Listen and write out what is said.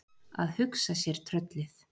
Að hugsa sér tröllið!